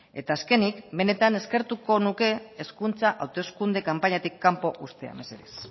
eta azkenik benetan eskertuko nuke hezkuntza hauteskunde kanpainatik kanpo uztea mesedez